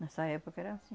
Nessa época era anssim.